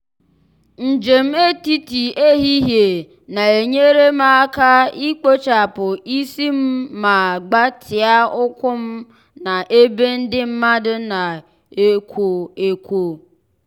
njem etiti ehihie na-enyere m aka ikpochapụ isi m ma gbatịa ụkwụ m na ebe ndị mmadụ na-ekwo ekwo.